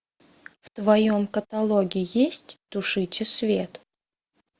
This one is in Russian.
в твоем каталоге есть тушите свет